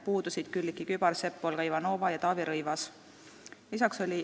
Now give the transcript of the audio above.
Puudusid Külliki Kübarsepp, Olga Ivanova ja Taavi Rõivas.